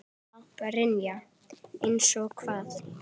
Brynja: Eins og hvað?